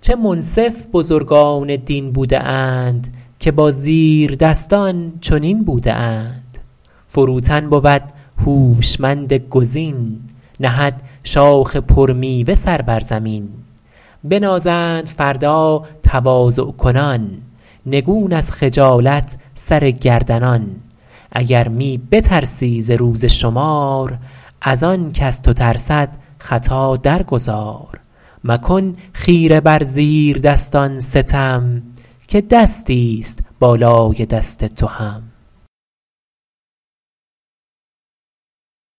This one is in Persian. چه منصف بزرگان دین بوده اند که با زیردستان چنین بوده اند فروتن بود هوشمند گزین نهد شاخ پر میوه سر بر زمین بنازند فردا تواضع کنان نگون از خجالت سر گردنان اگر می بترسی ز روز شمار از آن کز تو ترسد خطا در گذار مکن خیره بر زیر دستان ستم که دستی است بالای دست تو هم